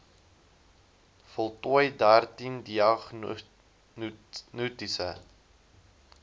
voltooi dertien diagnostiese